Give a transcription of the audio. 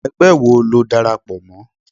ẹgbẹ wọ lo dárápọ mọ?